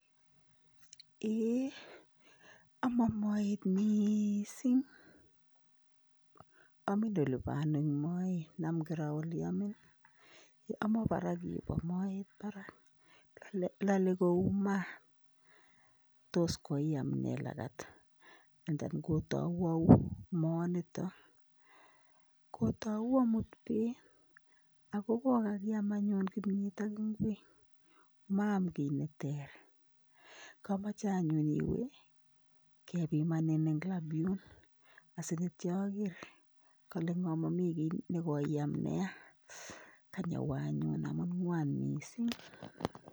Eyee aman moet mising, Amin elebo ano eng moet, nam kiro ele amin ,aman barak yubo moet barak lale kou maat, tos koiam ne langat and then kotau au moaniton ,kotau amut bett ako kokakiam anyu kimyet ak ingwek ma'am kiy neter, amache anyu iwe kebimanin eng lab Yun asi kityo ager kalengo Mami kiy nekoiam neya, kany awee anyun ngwan mising.